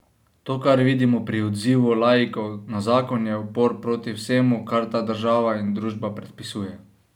To, kar vidimo pri odzivu laikov na zakon, je upor proti vsemu, kar ta država in družba predpisuje.